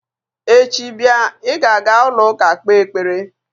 Echi bịa, ị ga-aga ụlọụka kpee ekpere!